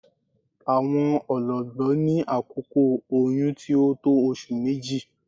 Awọn ọ̀lọ̀gbọ̀ ní àkókò oyún tí o tó ọṣù mẹ́jì.